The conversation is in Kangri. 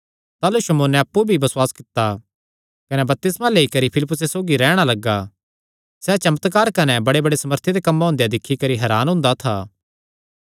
ताह़लू शमौने अप्पु भी बसुआस कित्ता कने बपतिस्मा लेई करी फिलिप्पुसे सौगी रैहणा लग्गा सैह़ चमत्कार कने बड़ेबड़े सामर्थी दे कम्मां हुंदेया दिक्खी करी हरान हुंदा था